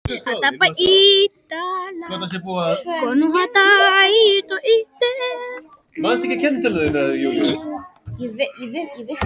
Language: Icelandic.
Kristfinnur, hvað er á innkaupalistanum mínum?